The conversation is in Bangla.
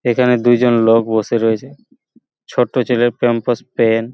এখানে দুজন লোক বসে রয়েছে ছোট্ট ছেলে প্যামপার্স প্যান্ট --